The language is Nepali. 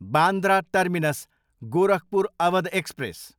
Bandra terminus, Gorakhpur Awadh express